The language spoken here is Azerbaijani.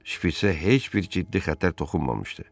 Şpitsə heç bir ciddi xətər toxunmamışdı.